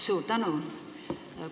Suur tänu!